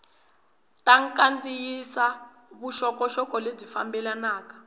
ta kandziyisa vuxokoxoko lebyi fambelanaka